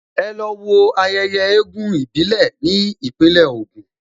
Ẹ lọ wo ayẹyẹ eégún ìbílẹ̀ ní Ìpínlẹ̀ Ògùn!